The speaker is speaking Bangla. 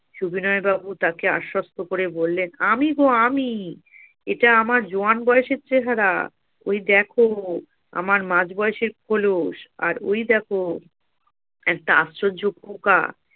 সবিনয় বাবু তাকে আশ্বস্ত করে বললেন আমি গো আমি এটা! আমার জোয়ান বয়সের চেহারা ঐ দেখো আমার মাঝ বয়সের খোলস আর ঐ দেখো একটা আশ্চর্য পোকা